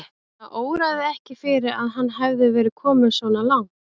Hana óraði ekki fyrir að hann hefði verið kominn svona langt.